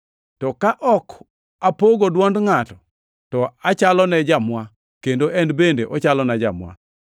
To ka ok apogo dwond ngʼato, to achalone jamwa, kendo en bende ochalona jamwa.